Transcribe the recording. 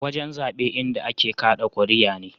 Wajen zaɓe inda a ke kaɗa kuriya ne.